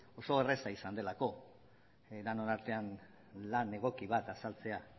oso erraza izan delako denon artean lan egoki bat azaltzea